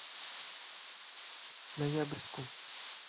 ноябрьску